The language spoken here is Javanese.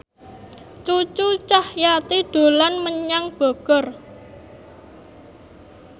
Cucu Cahyati dolan menyang Bogor